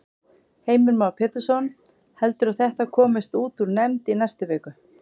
Heimir Már Pétursson: Heldurðu að þetta komist út úr nefnd í næstu viku?